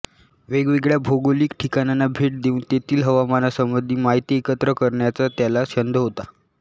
वेगवेगळ्या भौगोलिक ठिकाणांना भेटी देऊन तेथील हवामानासंबंधी माहिती एकत्र करण्याचा त्याला छंद होता